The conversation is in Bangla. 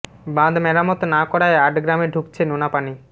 বাঁধ মেরামত না করায় আট গ্রামে ঢুকছে নোনা পানি